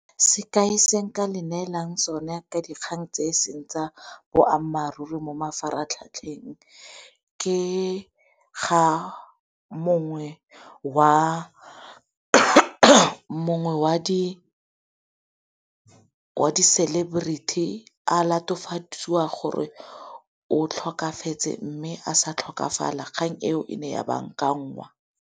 Sekai se nka le neelang sone ka dikgang tse e seng tsa boammaaruri mo mafaratlhatlheng, ke ga mongwe wa di-celebrity a latofadiwa gore o tlhokafetse mme a sa tlhokafala kgang eo e ne ya bankangwa.